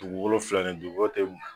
Dugu wolonfila ni bi ko tɛ.